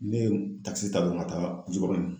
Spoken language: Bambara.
Ne ye takisi ta dɔrɔn ka taa Jikɔrɔni